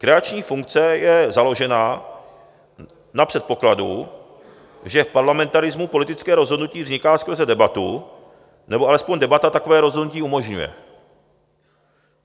Kreační funkce je založena na předpokladu, že v parlamentarismu politické rozhodnutí vzniká skrze debatu nebo aspoň debata takové rozhodnutí umožňuje.